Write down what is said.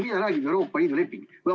Mida räägib Euroopa Liidu leping?